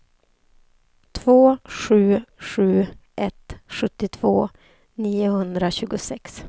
två sju sju ett sjuttiotvå niohundratjugosex